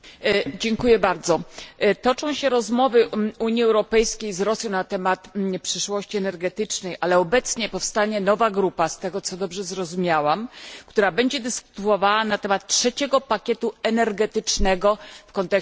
Toczą się rozmowy Unii Europejskiej z Rosją na temat przyszłości energetycznej, ale obecnie powstaje nowa grupa z tego, co zrozumiałam która będzie dyskutowała na temat trzeciego pakietu energetycznego w kontekście bezpieczeństwa gazowego.